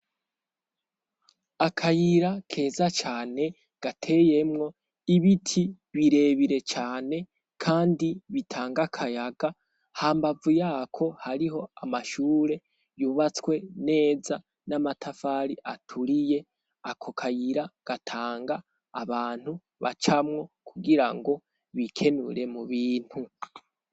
akayira keza cane gateyemwo ibiti birebire cane kandi bitanga akayaga ha mbavu yako hariho amashure yubatswe neza n'amatafari aturiye ako kayira gatanga abantu bacamwo kugira ngo bikenure mu bintu